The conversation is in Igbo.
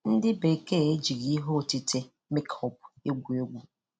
Ndị Bekee e jighị ihe otite 'makeup' egwu egwu.